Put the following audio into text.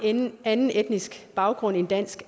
en anden etnisk baggrund end dansk